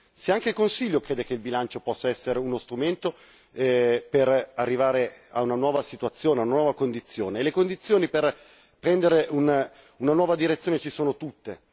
Se anche il Consiglio crede che il bilancio possa essere uno strumento per arrivare a una nuova situazione, a una nuova condizione e le condizioni per prendere una nuova direzione ci sono tutte.